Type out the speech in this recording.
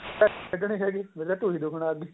ਖ੍ਡਨੀ ਹੈਗੀ ਮੇਰੀ ਤਾਂ ਟੁਈ ਦੁੱਖਣ ਲੱਗ ਗਾਈ ਹੈਗੀ